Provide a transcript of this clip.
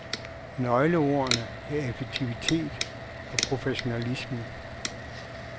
Nøgleordene er effektivitet og professionalisme.